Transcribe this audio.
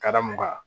Ka da mugan